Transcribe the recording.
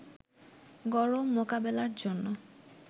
গরম মোকাবেলার জন্য